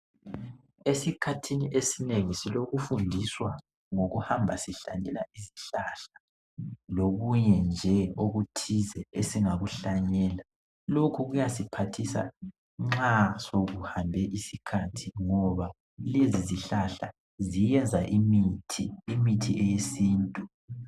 Esikhathini esinengi silokufundiswa ngokuhamba sihlanyela izihlahla lokunye nje okuthize esingakuhlanyela lokhu kuyasiphathisa nxa sokuhambe isikhathi ngoba lezi zihlahla ziyenza imithi, imithi eyesintu.